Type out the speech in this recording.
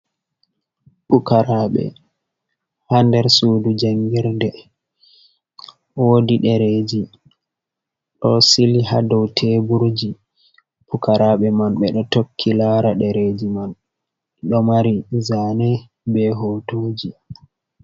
Pukaraɓe ha der sudu jangirde, wodi dereji do sili ha do teburji. Pukaraɓe man ɓe ɗo tokki lara ɗereji man, ɗo mari zane be hotuji.